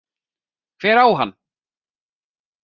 Hver á hann?